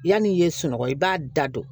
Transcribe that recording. Yanni i ye sunɔgɔ i b'a da don